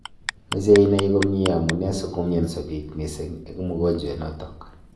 Mechei inai komnyei amune sikomnyanso pik missing eng mogonjwet notok